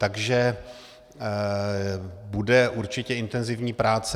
Takže budou určitě intenzivní práce.